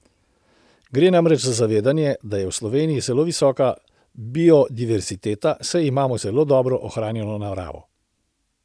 Gre namreč za zavedanje, da je v Sloveniji zelo visoka biodiverziteta, saj imamo zelo dobro ohranjeno naravo.